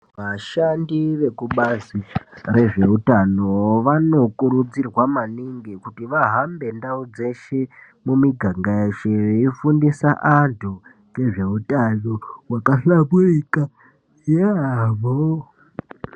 Vashandi vekubazi rezveutano vanokurudzirwa maningi kuti vahambe ndau dzeshe mumiganga yeshe veifundisa antu ngezveutano hwakahlamburika yaamho.